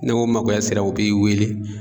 N'o makoya sera o bi weele